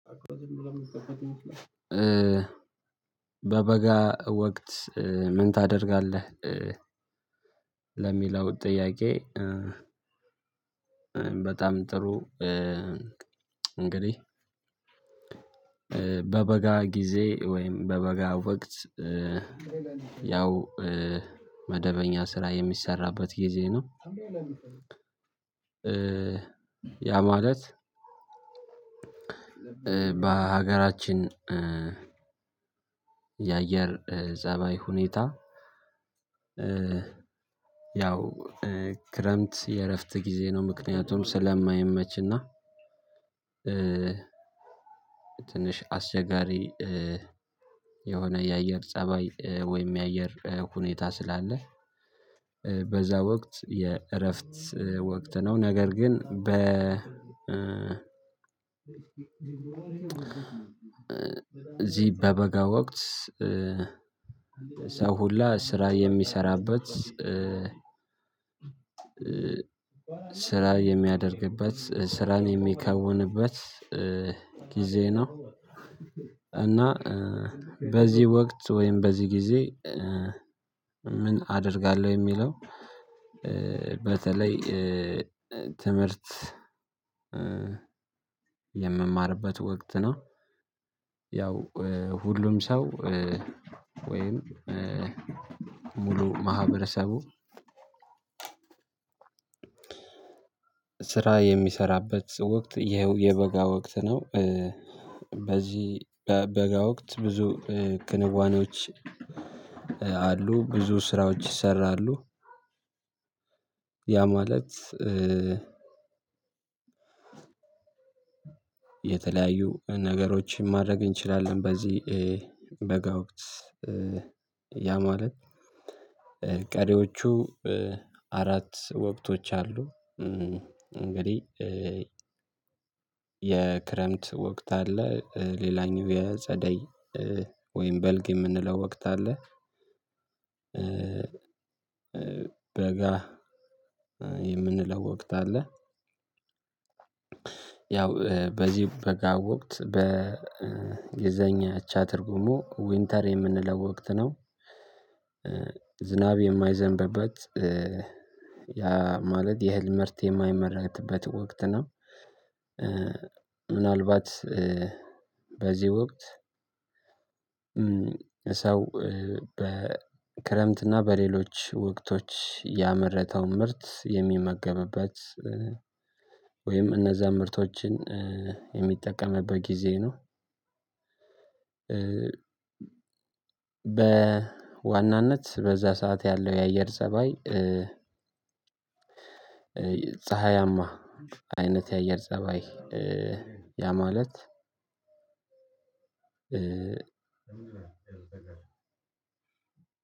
በበጋ ወቅት ምን ታደርጋለህ? ለሚለው ጥያቄ በጣም ጥሩ እንግዲህ በበጋ ጊዜ ወይም በበጋ ወቅት ያው መደበኛ ስራ የሚሰራበት ጊዜ ነው። ያ ማለት በሀገራችን የአየር ፀባይ ሁኔታ። ያው ክረምት የእረፍት ጊዜ ነው። ምክንያቱም ስለማይመችና እና ትንሽ አስቸጋሪ የሆነ የአየር ፀባይ ወይም የአየር ሁኔታ ስላለህ በዛ ወቅት የእረፍት ወቅት ነው። ነገር ግን በ እዚህ በበጋ ወቅት ሰው ሁላ ስራ የሚሰራበት ስራ የሚያደርግበት ስራን የሚከውንበት ጊዜ ነው። እና በዚህ ወቅት ወይም በዚህ ጊዜ ምን አደርጋለሁ የሚለው በተለይ ትምህርት የምማርበት ወቅት ነው። ያው ሁሉም ሰው ወይም ሙሉ ማህበረሰቡ ስራ የሚሰራበት ወቅት የበጋ ወቅት ነው። በዚህ በበጋ ወቅት ብዙ ክንዋኔዎች አሉ ብዙ ስራዎች ይሰራሉ። ያ ማለት የተለያዩ ነገሮችን ማድረግ እንችላለን። በዚህ በጋ ወቅት ያ ማለት ቀሪዎቹ አራት ወቅቶች አሉ። እንግዲህ የክረምት ወቅት አለ። ሌላኛው የጸደይ ወይም በልግ የምንለው ወቅት አለ። በጋ የምንለው ወቅት አለ። ያው በዚህ በጋ ወቅት በእንግሊዘኛ አቻ ትርጉሙ ዊንተር የምንለው ወቅት ነው። ዝናብ የማይዘንበበት ያ ማለት የእህል ምርት የማይመረትበት ወቅት ነው። ምናልባት በዚህ ወቅት ሰው በክረምትና በሌሎች ወቅቶች ያመረተውን ምርት የሚመገብበት ወይም እነዛን ምርቶችን የሚጠቀምበት ጊዜ ነው። በዋናነት በዛ ሰዓት ያለው የአየር ፀባይ ፀሀያማ አይነት የአየር ፀባይ ያ ማለት